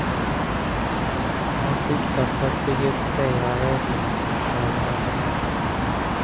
Man siktar på att bygga upp flera rådgivningscentraler över landet.